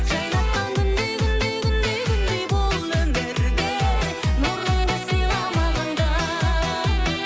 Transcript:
жайнатқан күндей күндей күндей күндей бұл өмірде нұрыңды сыйла маған да